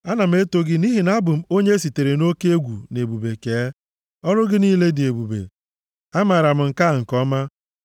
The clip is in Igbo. Ana m eto gị nʼihi na abụ m onye e sitere nʼoke egwu na ebube kee; ọrụ gị niile dị ebube; amaara m nke a nke ọma.